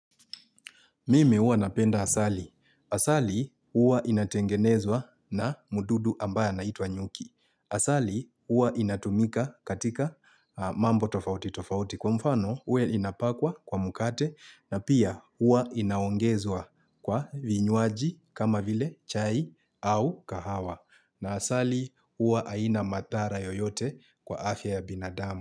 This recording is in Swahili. Mimi huwa napenda asali. Asali huwa inatengenezwa na mdudu ambaye anaitwa nyuki. Asali huwa inatumika katika mambo tofauti tofauti kwa mfano huwa inapakwa kwa mkate na pia huwa inaongezwa kwa vinywaji kama vile chai au kahawa. Na asali huwa haina madhara yoyote kwa afya ya binadama.